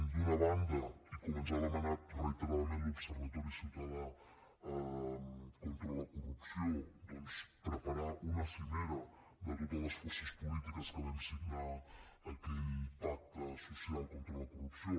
d’una banda i com ens ha demanat reiteradament l’observatori ciutadà contra la corrupció preparar una cimera de totes les forces polítiques que vam signar aquell pacte social contra la corrupció